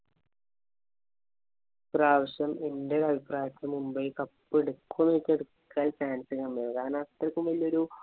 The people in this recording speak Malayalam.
ഈ പ്രാവശ്യം എന്‍റെ ഒരു അഭിപ്രായത്തില്‍ മുംബൈ cup എടുക്കുമോ എന്ന് ചോദിച്ചാല്‍ എടുക്കാന്‍ chance കമ്മിയാ. കാരണം അത്രയ്ക്കും വല്യ ഒരു